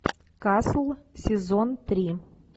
касл сезон три